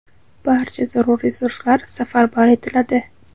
barcha zarur resurslar safarbar etiladi.